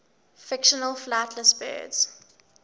fictional flightless birds